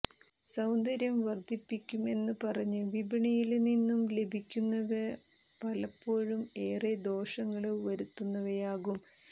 സൌന്ദര്യം വര്ദ്ധിപ്പിയ്ക്കുമെന്നു പറഞ്ഞ് വിപണിയില് നിന്നും ലഭിയ്ക്കുന്നവ പലപ്പോഴും ഏറെ ദോഷങ്ങള് വരുത്തുന്നവയാകും